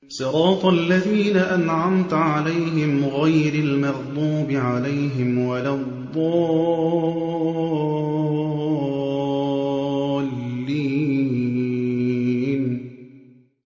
صِرَاطَ الَّذِينَ أَنْعَمْتَ عَلَيْهِمْ غَيْرِ الْمَغْضُوبِ عَلَيْهِمْ وَلَا الضَّالِّينَ